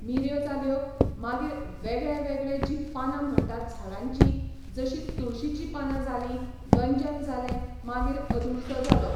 मिऱ्यो जाल्यो, मागीर वेगळेवेगळे जीं पानां म्हणटात झाडांचीं, जशीं तुळशीचीं पानां जालीं, गंजन जालें मागीर अदुळसा जालो.